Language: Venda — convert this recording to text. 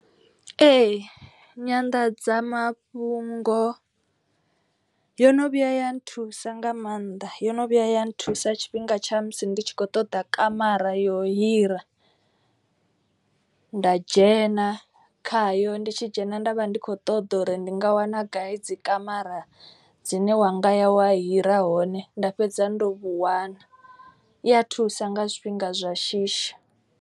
Ee nyanḓadzamafhungo yo no vhuya ya nthusa nga maanḓa. Yo no vhuya ya nthusa tshifhinga tsha musi ndi tshi kho ṱoḓa kamara yo hira. Nda dzhena khayo ndi tshi dzhena nda vha ndi kho ṱoḓa uri ndi nga wana gai dzi kamara dzine wa ngaya wa hira hone. Nda fhedza ndo vhu wana i a thusa nga zwifhinga zwa shishi.